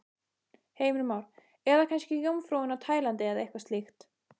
Heimir Már: Eða kannski Jómfrúin á Tælandi eða eitthvað slíkt?